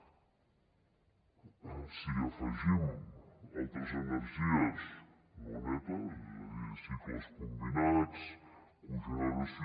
si hi afegim altres energies no netes és a dir cicles combinats cogeneració